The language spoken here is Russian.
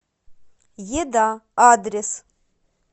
еда адрес